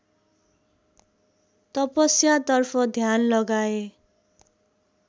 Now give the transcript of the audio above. तपस्यातर्फ ध्यान लगाए